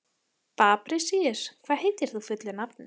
Fabrisíus, hvað heitir þú fullu nafni?